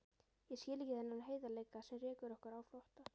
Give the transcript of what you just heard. Ég skil ekki þennan heiðarleika sem rekur okkur á flótta.